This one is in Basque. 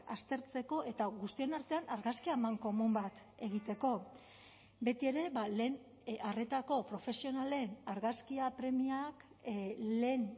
aztertzeko eta guztion artean argazki amankomun bat egiteko betiere lehen arretako profesionalen argazkia premiak lehen